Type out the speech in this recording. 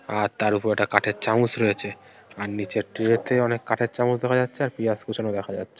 আর তার উপর ওটা কাঠের চামচ রয়েছে । আর নিচের ট্রে তে অনেক কাঠের চামচ দেখা যাচ্ছে। আর পিঁয়াজ কুচানো দেখা যাছ--